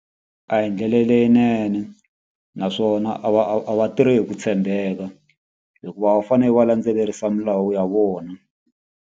A hi ndlela leyinene naswona a va a va tirhi hi ku tshembeka. Hikuva a va fanele va landzelerisa milawu ya vona.